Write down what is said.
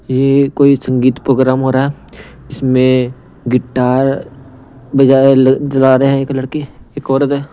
यह कोई संगीत प्रोग्राम हो रहा है इसमें गिटार बजा जला रहे हैं एक लड़की एक औरत है.